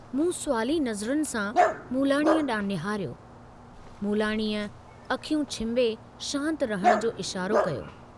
मूं सुवाली नज़रुनि सां मूलाणी डांहुं निहारियो, मूलाणीअ अखियूं छिंभे शांत रहण जो इशारो कयो।